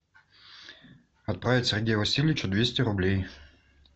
отправить сергею васильевичу двести рублей